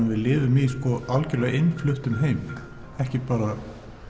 við lifum í algjörlega innfluttum heimi ekki bara